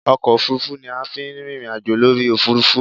Ọkọ òfuurufú ni a fi ń rìnrìn àjò lórí òfuurufú